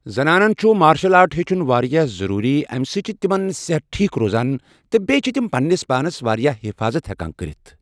زَنانَن چھُ martial art ہیٚچھُن واریاہ ضٔروٗری اَمہِ سۭتۍ چھِ تِمَن صحت ٹھیٖک روزان تہٕ بیٚیہِ چھِ تِم پنٛنِس پانَس واریاہ حفاطت ہٮ۪کان کٔرِتھ